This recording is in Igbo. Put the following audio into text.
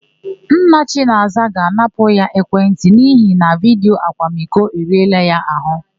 Nna Chinaza ga-anapụ ya ekwentị n'ihi na vidiyo akwamiko eriela ya àhụ́.